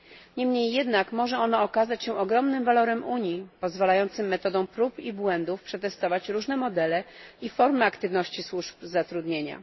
Niemniej jednak może ono okazać się ogromnym walorem Unii, pozwalającym metodą prób i błędów przetestować różne modele i formy aktywności służb zatrudnienia.